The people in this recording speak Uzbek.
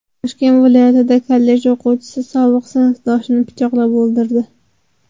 Toshkent viloyatida kollej o‘quvchisi sobiq sinfdoshini pichoqlab o‘ldirdi.